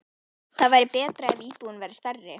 Það væri betra ef íbúðin væri stærri.